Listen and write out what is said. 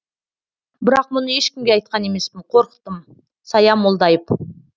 бірақ мұны ешкімге айтқан емеспін қорықтым сая молдайып